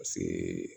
Paseke